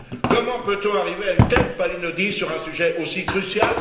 Comment peut on arriver à une telle palinodie sur un sujet aussi crucial?